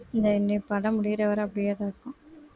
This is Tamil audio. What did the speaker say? இந்தா இனி படம் முடியற வரை அப்படியேதான் இருக்கும்